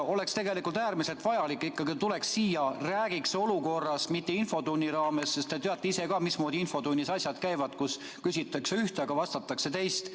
Oleks ikkagi äärmiselt vajalik, et peaminister tuleks siia ja räägiks olukorrast, aga mitte infotunni raames, sest te teate ise ka, mismoodi infotunnis asjad käivad – seal küsitakse ühte, aga vastatakse teist.